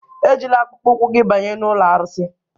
Ejila akpụkpọ ụkwụ gị banye n'ụlọ arụsị!